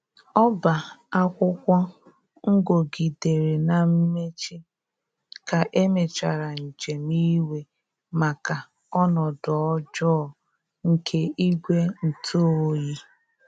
Ọba akwụkwo ngogidere na mmechi ka emechara njem iwe maka ọnodo ọjọ nke igwe ntụ ọyi